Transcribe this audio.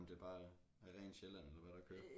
Om det bare er er rent Sjælland eller hvad der kører